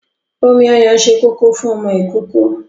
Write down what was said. Omi ọyàn ṣe kókó fún ọmọ ìkókó.